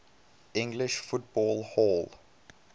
english football hall